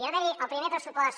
va haver hi el primer pressupost